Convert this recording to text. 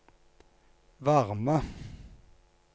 varme